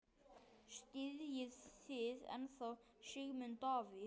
Styðjið þið ennþá Sigmund Davíð?